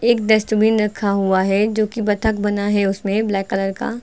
एक डस्टबिन रखा हुआ है जो की बतक बना है उसमें ब्लैक कलर का--